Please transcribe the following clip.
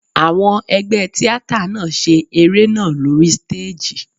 Àwọn ẹgbẹ́ tíátà náà ṣe eré náà lóri stéèjì.